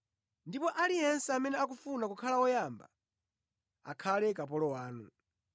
Ndipo aliyense amene akufuna kukhala woyamba akhale kapolo wanu.